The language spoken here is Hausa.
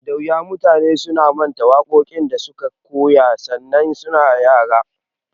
Da wuya mutane su manta waƙoƙin da suka koya sanda su na yara.